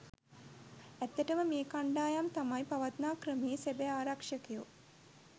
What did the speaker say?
ඇත්තටම මේ කණ්ඩායම් තමයි පවත්නා ක්‍රමයේ සැබෑ ආරක්ෂකයෝ.